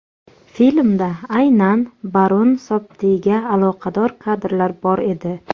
Filmda aynan Barun Sobtiga aloqador kadrlar bor edi.